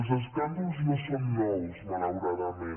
els escàndols no són nous malauradament